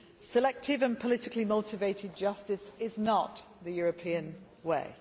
Selective and politically motivated justice is not the European way.